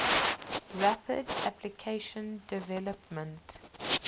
rapid application development